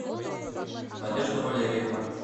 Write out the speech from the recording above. надежда валерьевна